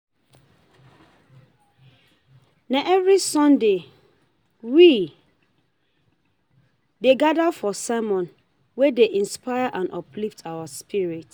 Na every Sunday, we dey gather for sermon wey dey inspire and uplift our spirits.